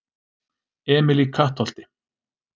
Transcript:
Emil í Kattholti